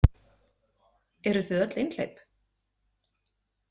Eruð þið öll einhleyp?